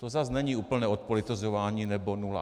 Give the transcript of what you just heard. To zase není úplné odpolitizování nebo nula.